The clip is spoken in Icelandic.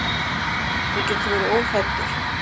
Þú getur verið óhræddur.